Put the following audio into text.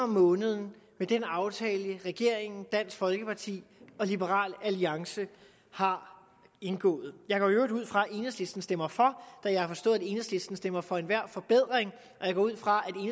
om måneden med den aftale regeringen dansk folkeparti og liberal alliance har indgået jeg går i øvrigt ud fra at enhedslisten stemmer for da jeg har forstået at enhedslisten stemmer for enhver forbedring og jeg går ud fra